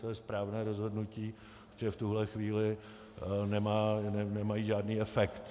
To je správné rozhodnutí, že v tuhle chvíli nemají žádný efekt.